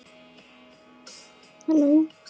En það fór sem fór.